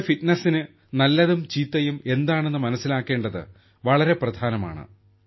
നമ്മുടെ ഫിറ്റ്നസിന് നല്ലതും ചീത്തയും എന്താണെന്ന് മനസ്സിലാക്കേണ്ടത് വളരെ പ്രധാനമാണ്